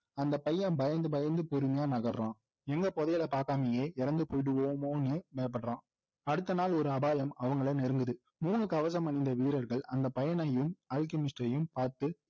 அந்த பையன் பயந்து பயந்து பொறுமையா நகர்றான் எங்க புதையலை பார்க்காமலே இறந்து போய்டுவோமோன்னு பயப்படுறான் அடுத்த நாள் ஒரு அபாயம் அவங்களை நெருங்குது மூணு கவசம் அணிந்த வீரர்கள் அந்த பையனையும் அல்கெமிஸ்ட்டையும் பார்த்து